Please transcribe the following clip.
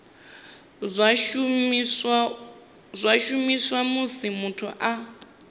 zwa shumiswa musi muthu a